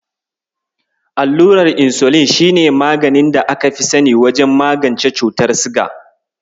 Allurar Insulin shi ne maganin da aka fi sani wajen magance cutar siga.